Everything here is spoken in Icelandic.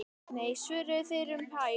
Nei svöruðu þeir um hæl.